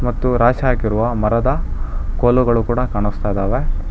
ಮತ್ತು ರಾಶಿ ಹಾಕಿರುವ ಮರದ ಕೋಲುಗಳು ಕೂಡ ಕಾಣಿಸ್ತಾ ಇದ್ದಾವೆ.